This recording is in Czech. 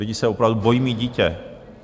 Lidi se opravdu bojí mít dítě.